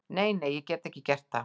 Nei, nei, ég get ekki gert það.